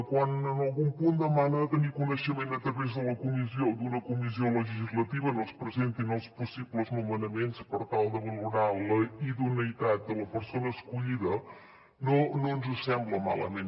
quan en algun punt demana de tenir coneixement a través d’una comissió legislativa on es presentin els possibles nomenaments per tal de valorar la idoneïtat de la persona escollida no ens sembla malament